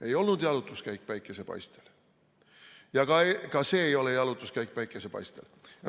Ei olnud jalutuskäik päikesepaistel ja ka see ei ole jalutuskäik päikesepaistel.